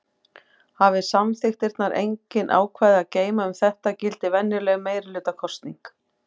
Hafi samþykktirnar engin ákvæði að geyma um þetta gildir venjuleg meirihlutakosning.